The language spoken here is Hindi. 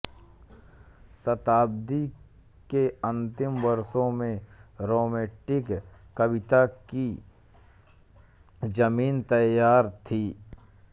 शताब्दी के अंतिम वर्षों में रोमैंटिक कविता की जमीन तैयार थी